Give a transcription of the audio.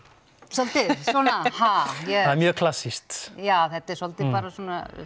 svolítið svona ha það er mjög klassískt já þetta er svolítið bara svona